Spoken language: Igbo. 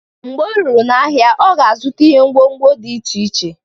Mgbe o ruru n'ahịa, ọ ga-azụta ihe ngwo ngwo dị iche iche.